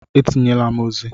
Etinyela m ozi!